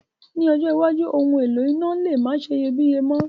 Ní ọjọ́ iwájú, oun èlò iná le ma seyebíye mo